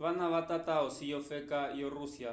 vana vatata osi yofeka yo-rússia